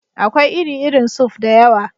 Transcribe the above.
Akwai iri-irin suf (soup) da yawa.